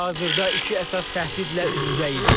Biz hazırda iki əsas təhdidlə üz-üzəyik.